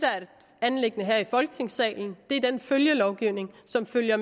anliggende her i folketingssalen er den følgelovgivning som følger